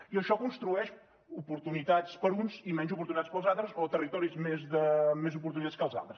i això construeix oportunitats per a uns i menys oportunitats per als altres o territoris més d’oportunitats que els altres